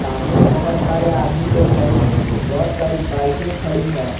सामने बहुत सारे आदमी लोग है और बहुत सारी बाइके खड़ी है।